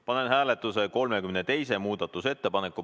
Panen hääletusele 32. muudatusettepaneku.